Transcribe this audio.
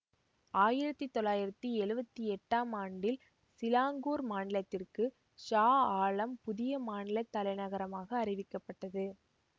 ஆயிரத்தி தொள்ளாயிரத்தி எழுவத்தி எட்டாம் ஆண்டில் சிலாங்கூர் மாநிலத்திற்கு ஷா ஆலம் புதிய மாநில தலைநகரமாக அறிவிக்கப்பட்டது